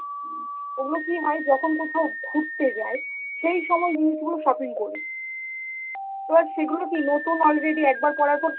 ওইগুলো কি হয় যখন কোথাও ঘুরতে যাই, সেই সময় জিনিসগুলো shopping করি, তো আর সেগুলো কি নতুন already একবার পড়ার পর সেই